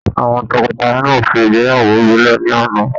Àwọn tọkọtaya náà ṣe ìgbéyàwó ìbílẹ̀ ní àná.